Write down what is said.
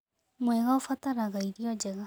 Mwega ũbataraga irio njega